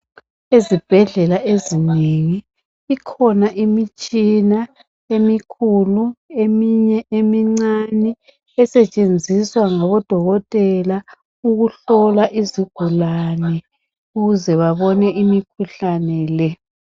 Izibhedlela ezinengi ikhona imitshina emikhulu eminye emincane esetshenziswa ngabodokotela ukuhlola izigulane ukuze babone imikhuhlane le .